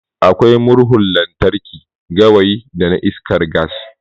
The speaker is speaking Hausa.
Akwai Murhun lantarki, gawayi da iskar gas.